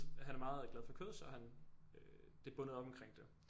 Han er meget glad for kød så han det er bundet op omkring det